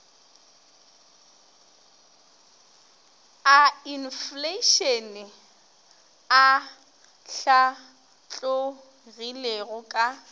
a infleišene a hlatlogilego ka